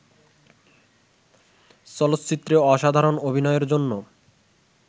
চলচ্চিত্রে অসাধারণ অভিনয়ের জন্য